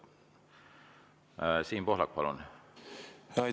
Siim Pohlak, palun!